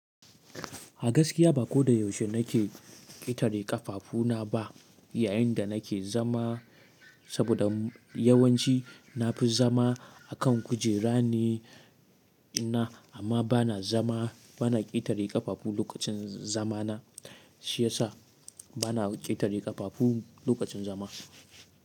A gaskiya ba ko da yaushe na ke ƙetare ƙafafuna ba yayin da na ke zama, saboda yawanci na fi zama a kan kujera ne, amma ba na zama, ba na ƙetare ƙafafu lokacin zamana shi yasa ba na ƙetare ƙafafu lokacin zama.